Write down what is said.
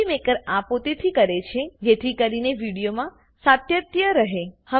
movie maker આ પોતેથી કરે છે જેથી કરીને વિડીયોમાં સાતત્ય રહે